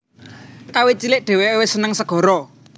Kawit cilik dheweke wis seneng segara